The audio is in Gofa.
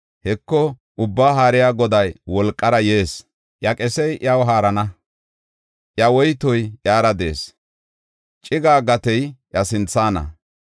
Heko, Ubbaa Haariya Goday wolqara yees; iya qesey iyaw haarana. Iya woytoy iyara de7ees; ciggiya gatey iya sinthana.